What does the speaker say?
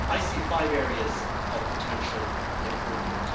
I see five areas of potential improvement.